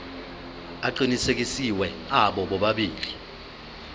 aqinisekisiwe abo bobabili